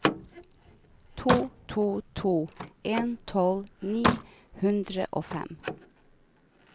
to to to en tolv ni hundre og fem